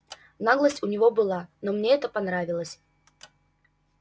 наглость у него была но мне это понравилось